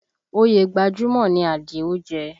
Oyè gbajúmọ̀ ni Àdìó jẹ